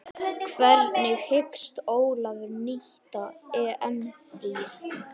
Hvernig hyggst Ólafur nýta EM fríið?